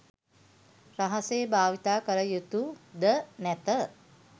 රහසේ භාවිතා කළ යුතුද නැත.